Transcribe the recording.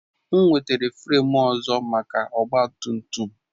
M wetara fremu ọzọ maka ọgba tum tum